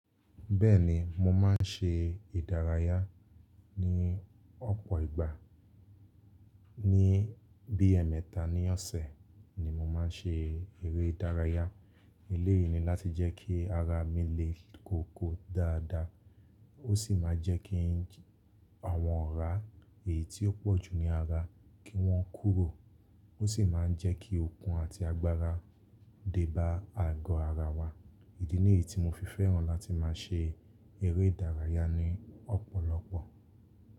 Bẹ́ẹ̀ni, mo má ń ṣe ìdárayá ní ọ̀pọ̀ ìgbà. Ni bí ẹmẹta ní ọ̀sẹ̀ ni mo má ń ṣe eré ìdárayá. Eléyìí ni láti jẹ́ kí ara mi le kóko dáadáa. Ó sì máa jẹ́ kí àwọn ọ̀rá èyí tí ó pọ̀jù ní ara kí wọ́n kúrò. Ó sì má ń jẹ́ kí okun àti agbára dé bá àgọ́ ara wa. Ìdí nìyí tí mo fi fẹ́ràn láti má a ṣe eré ìdárayá ní ọ̀pọ̀lọpọ̀.